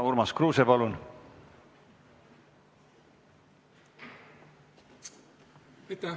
Urmas Kruuse, palun!